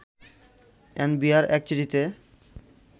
NBR এক চিঠিতে